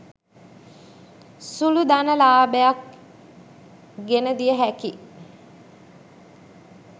සුළු ධන ලාභයක් ගෙන දිය හැකි